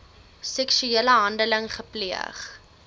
seksuele handeling gepleeg